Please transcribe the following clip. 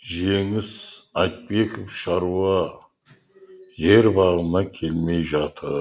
жеңіс айтбеков шаруа жер бабына келмей жатыр